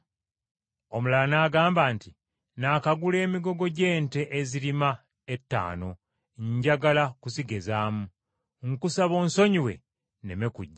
“Omulala n’agamba nti, ‘Nnakagula emigogo gy’ente ezirima etaano njagala kuzigezaamu. Nkusaba onsonyiwe nneme kujja.’